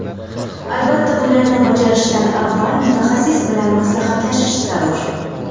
Albatta, bularni bajarishdan avval mutaxassis bilan maslahatlashish zarur.